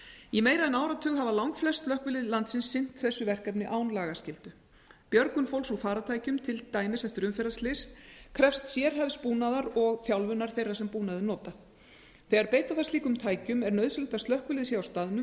í meira en áratug hafa langflest slökkvilið landsins sinnt þessu verkefni án lagaskyldu björgun fólks úr farartækjum til dæmis eftir umferðarslys krefst sérhæfðs búnaðar og þjálfunar þeirra sem búnaðinn nota þegar beita þarf slíkum tækjum er nauðsynlegt að slökkvilið sé á staðnum